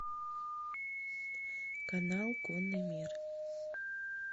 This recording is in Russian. канал конный мир